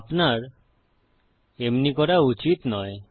আপনার এমনি করা উচিত নয়